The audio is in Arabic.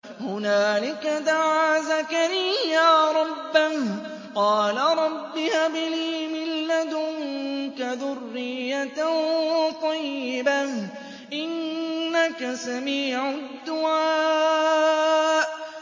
هُنَالِكَ دَعَا زَكَرِيَّا رَبَّهُ ۖ قَالَ رَبِّ هَبْ لِي مِن لَّدُنكَ ذُرِّيَّةً طَيِّبَةً ۖ إِنَّكَ سَمِيعُ الدُّعَاءِ